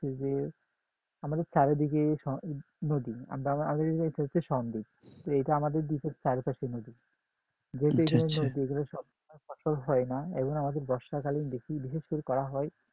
যে আমাদের চারদিকে নদী এইটা আমাদের দিকে চারিপাশে নদী যেহেতু এখানে নদী এখানে সব সময় সব ফসল হয় না এজন্য আমাদের বর্ষাকালে বেশি বিশেষ করে করা হয়